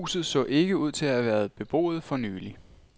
Huset så ikke ud til at have været beboet for nylig.